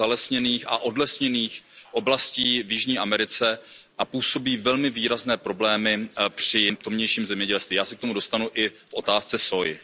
ze zalesněných a odlesněných oblastí v Jižní Americe a působí velmi výrazné problémy v tamějším zemědělství, já se k tomu dostanu i v otázce sóji.